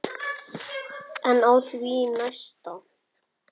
En á því næsta?